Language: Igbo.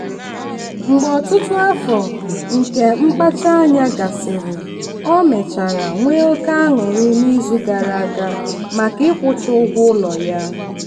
mgbe ọtụtụ afọ nke mkpacha anya gasịrị ọ mechara nwee oke aṅụrị n'izu gara aga maka ịkwụcha ụgwọ ụlọ ya.